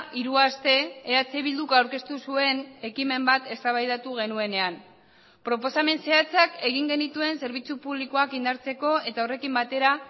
hiru aste eh bilduk aurkeztu zuen ekimen bat eztabaidatu genuenean proposamen zehatzak egin genituen zerbitzu publikoak indartzeko eta horrekin batera